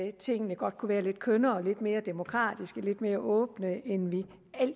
at tingene godt kunne være lidt kønnere lidt mere demokratiske og lidt mere åbne end vi